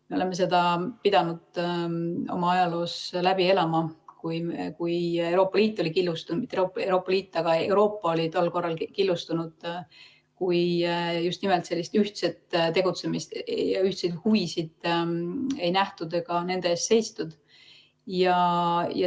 Me oleme seda pidanud oma ajaloos läbi elama, kui Euroopa oli killustunud, kui just nimelt sellist ühtset tegutsemist ja ühtseid huvisid ei nähtud ega nende eest seistud.